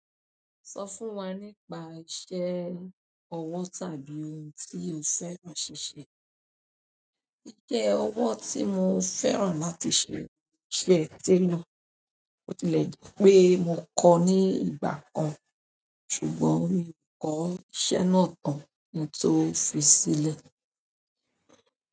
Sọ fún wa nípa iṣẹ́ ọwọ́ tàbí ohun tí o fẹ́ ra ṣíṣe. Iṣẹ́ ọwọ́ tí mo fẹ́ràn láti ṣe, iṣẹ́ tailor. Bó tilẹ̀ jẹ́ pé mo kọ ní ìgbà kan, ṣùgbọ́n mi ò kọ́ iṣẹ́ náà tán kí n tó fi sílẹ̀.